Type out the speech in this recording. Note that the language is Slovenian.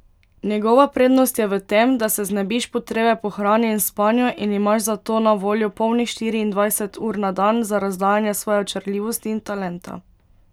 Njegova prednost je v tem, da se znebiš potrebe po hrani in spanju in imaš zato na voljo polnih štiriindvajset ur na dan za razdajanje svoje očarljivosti in talenta.